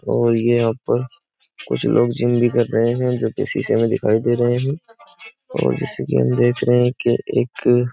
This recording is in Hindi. और ये यहां पर कुछ लोग जिम भी कर रहे हैं जो कि शीशे में दिखाई दे रहे हैं और जैसे कि हम देख रहे हैं कि एक --